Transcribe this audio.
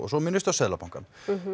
svo minnistu á Seðlabankann